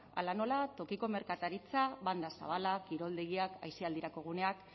hala nola tokiko merkataritza banda zabala kiroldegiak aisialdirako guneak